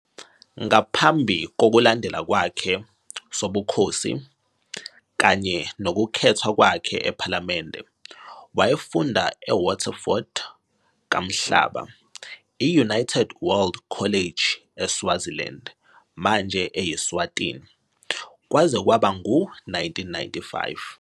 Ngaphambi kokulandela kwakhe sobukhosi kanye nokukhethwa kwakhe ephalamende, wayefunda eWaterford Kamhlaba, i- United World College eSwaziland, manje eyi-Eswatini, kwaze kwaba ngu-1995.